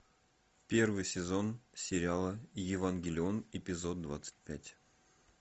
первый сезон сериала евангелион эпизод двадцать пять